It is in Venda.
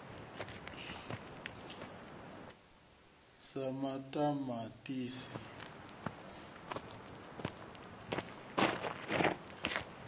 sa maṱamaṱisi nyala na khavhishi